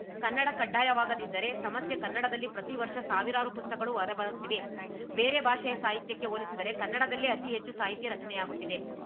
ಕನ್ನಡ ಕಡ್ಡಾಯವಾಗದಿದ್ದರೆ ಸಮಸ್ಯೆ ಕನ್ನಡದಲ್ಲಿ ಪ್ರತಿವರ್ಷ ಸಾವಿರಾರು ಪುಸ್ತಕಗಳು ಹೊರಬರುತ್ತಿವೆ ಬೇರೆ ಭಾಷೆಯ ಸಾಹಿತ್ಯಕ್ಕೆ ಹೋಲಿಸಿದರೆ ಕನ್ನಡದಲ್ಲೇ ಅತಿ ಹೆಚ್ಚು ಸಾಹಿತ್ಯ ರಚನೆಯಾಗುತ್ತಿದೆ